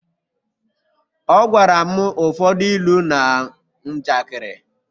Ọ gwara m ụfọdụ ilu na njakịrị